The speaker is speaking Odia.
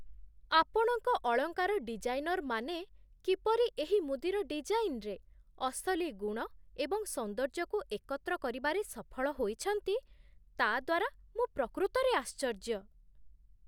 ଆପଣଙ୍କ ଅଳଙ୍କାର ଡିଜାଇନର୍ମାନେ କିପରି ଏହି ମୁଦିର ଡିଜାଇନ୍ରେ ଅସଲି ଗୁଣ ଏବଂ ସୌନ୍ଦର୍ଯ୍ୟକୁ ଏକତ୍ର କରିବାରେ ସଫଳ ହୋଇଛନ୍ତି, ତା'ଦ୍ୱାରା ମୁଁ ପ୍ରକୃତରେ ଆଶ୍ଚର୍ଯ୍ୟ।